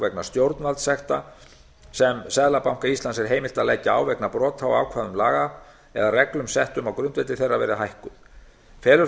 vegna stjórnvaldssekta sem seðlabanka íslands er heimilt að leggja á vegna brota á ákvæðum laga eða reglum settum á grundvelli þeirra verði hækkuð felur það